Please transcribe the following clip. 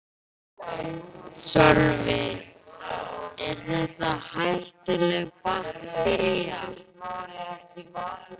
Sölvi: Er þetta hættuleg baktería?